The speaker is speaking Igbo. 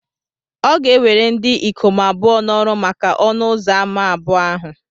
Ọ ga ewere ndị ikom abụọ na-oru maka ọnụ ụzọ ámá abụọ ahụ